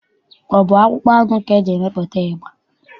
Ọ bụ akpụkpọ anụ ka e ji emepụta ịgba?